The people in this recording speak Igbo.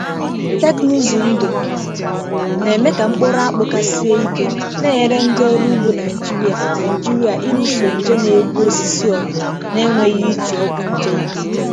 Teknụzụ ndụ na-eme ka mkpụrụ akpụ ka sie ike, na-enyere ndị ọrụ ugbo Naijiria Naijiria ịlụso nje na-egbu osisi ọgụ na-enweghị iji ọgwụ nje ike.